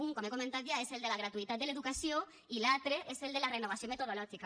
un com he comentat ja és el de la gratuïtat de l’educació i l’altre és el de la renovació metodològica